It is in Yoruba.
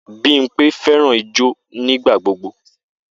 Bimpe fẹràn ijó nigbagbogbo.